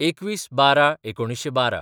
२१/१२/१९१२